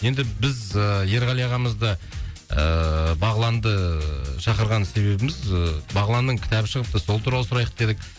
енді біз ыыы ерғали ағамызды ыыы бағланды шақырған себібіміз ыыы бағланның кітабы шығыпты сол туралы сұрайық дедік